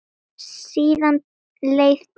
Síðan leið tíminn.